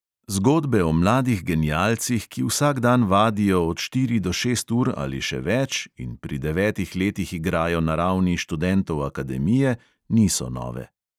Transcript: Zgodbe o mladih genialcih, ki vsak dan vadijo od štiri do šest ur ali še več in pri devetih letih igrajo na ravni študentov akademije, niso nove.